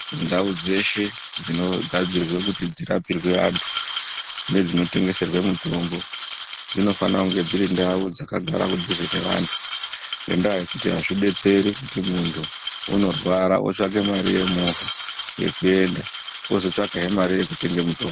Ndau dzeshe dzinogadzirwe kuti dzirapirwe antu nedzinotengeserwe mitombo dzinofana kunge dziri ndau dzakagara kunduze naantu ngendaa yekuti aizvidetseri kuti muntu unorwara otsvaka mari yemovha yekuenda wozotsvakazve mari yekutsvaka mutombo.